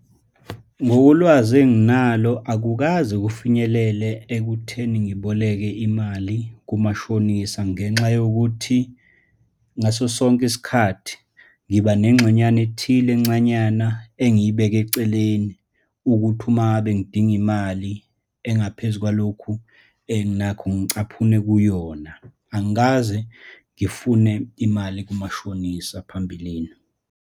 Ngokolwazi enginalo akukaze kufinyelele ekutheni ngiboleke imali kumashonisa, ngenxa yokuthi ngaso sonke isikhathi ngiba nengxenyana ethile encanyana engiyibeka eceleni, ukuthi uma ngabe ngidinga imali engaphezu kwalokhu enginakho, ngicaphunele kuyona. Angikaze ngifune imali kumashonisa phambilini.